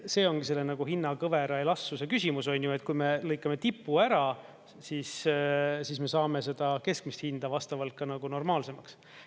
See ongi nagu hinnakõvera elastsuse küsimus, et kui me lõikame tippu ära, siis me saame seda keskmist hinda vastavalt normaalsemaks.